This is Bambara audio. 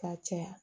Ka caya